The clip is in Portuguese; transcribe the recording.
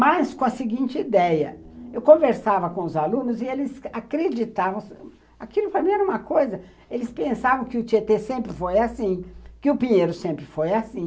Mas com a seguinte ideia, eu conversava com os alunos e eles acreditavam, aquilo fazia uma coisa, eles pensavam que o Tietê sempre foi assim, que o Pinheiro sempre foi assim.